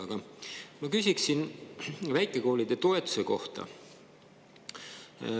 Aga ma küsiksin väikekoolide toetuse kohta.